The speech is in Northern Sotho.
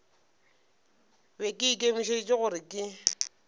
be ke ikemišeditše gore ke